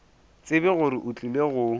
tsebe gore o tlile go